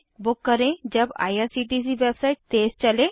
book करें जब IRCTC website तेज़ चले